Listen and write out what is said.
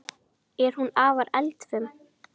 Er hún afar eldfim?